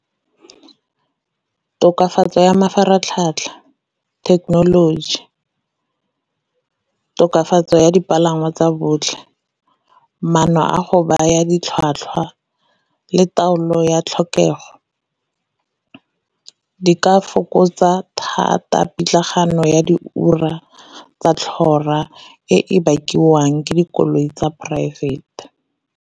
Tokafatso ya mafaratlhatlha, thekenoloji, tokafatso ya dipalangwa tsa botlhe, maano a go baya ditlhwatlhwa, le taolo ya tlhokego di ka fokotsa thata pitlagano ya di ura tsa tlhora e bakiwang ke dikoloi tsa poraefete.